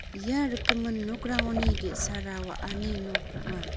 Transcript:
ia rikgimin nokrangoni ge·sara wa·ani nok ong·a.